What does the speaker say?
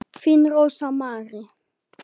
Þín Rósa Mary.